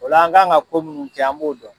O la an kan ka ko minnu kɛ an b'o dɔn.